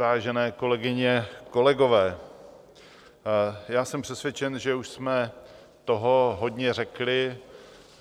Vážené kolegyně, kolegové, já jsem přesvědčen, že už jsme toho hodně řekli